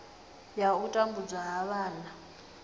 ya u tambudzwa ha vhana